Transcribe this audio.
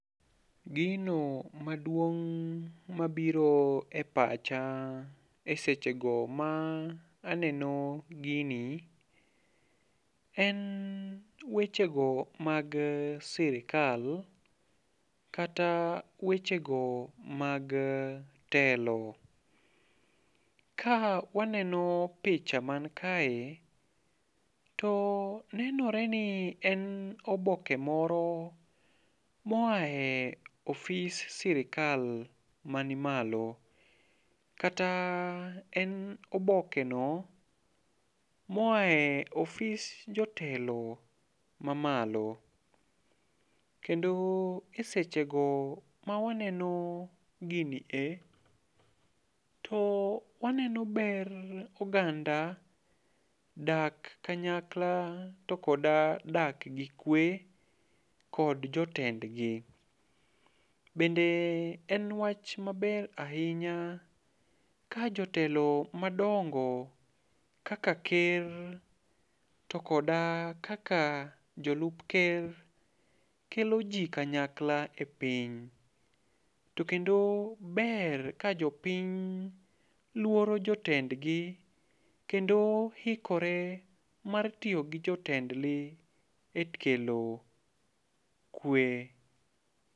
Gino maduong' mabiro e pacha e sechego ma aneno gini, en weche go mag sirikal, kata weche go mag telo. Ka waneno picha mani kae, to nenore ni en oboke moro moae office sirikal mani malo, kata en oboke no moae office jotelo mamalo. Kendo e sechego ma waneno gini e, to waneno ber oganda dak kanyakla to koda dak gi kwe kod jotendgi. Bende en wach maber ahinya kajotelo madongo kaka ker to koda kaka jolup ker kelo ji kanyakla e piny. To kendo ber ka jopiny luoro jotendgi, kendo ikore mar tiyo gi jotendgi e kelo kwe.